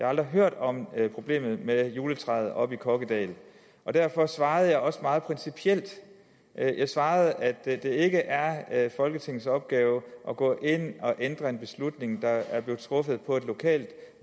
aldrig hørt om problemet med juletræet oppe i kokkedal derfor svarede jeg også meget principielt jeg jeg svarede at det ikke er er folketingets opgave at gå ind og ændre en beslutning der er blevet truffet på et lokalt